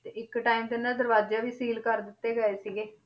ਤੇ ਇੱਕ time ਤੇ ਇਹਨਾਂ ਦੇ ਦਰਵਾਜ਼ੇ ਵੀ seal ਕਰ ਦਿੱਤੇ ਗਏ ਸੀਗੇ l